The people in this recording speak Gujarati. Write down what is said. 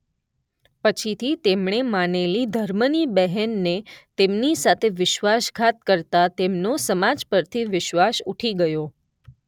પછીથી તેમણે માનેલી ધર્મની બહેનને તેમની સાથે વિશ્વાસઘાત કરતાં તેમનો સમાજ પરથી વિશ્વાસ ઉઠી ગયો.